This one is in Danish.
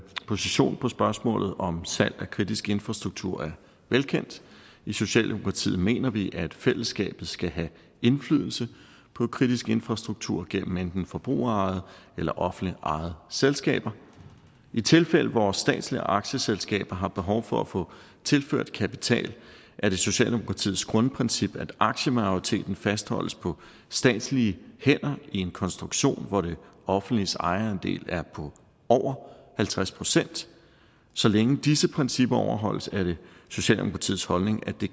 position på spørgsmålet om salg af kritisk infrastruktur er velkendt i socialdemokratiet mener vi at fællesskabet skal have indflydelse på kritisk infrastruktur gennem enten forbrugerejede eller offentligt ejede selskaber i tilfælde hvor statslige aktieselskaber har behov for at få tilført kapital er det socialdemokratiets grundprincip at aktiemajoriteten fastholdes på statslige hænder i en konstruktion hvor det offentliges ejerandel er på over halvtreds procent så længe disse principper overholdes er det socialdemokratiets holdning at det